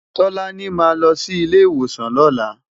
Tolani má lò si ilé iwósán lòlá